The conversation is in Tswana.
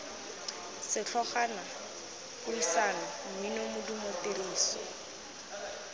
setlhogwana puisano mmino modumo tiriso